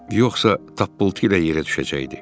Yoxsa tappultu ilə yerə düşəcəkdi.